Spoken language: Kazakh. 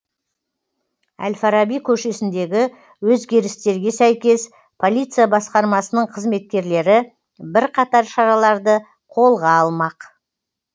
әл фараби көшесіндегі өзгерістерге сәйкес полиция басқармасының қызметкерлері бірқатар шараларды қолға алмақ